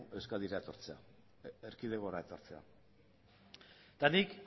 euskadira etortzea erkidegora etortzea eta nik